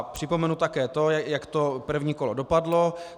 Připomenu také to, jak to první kolo dopadlo.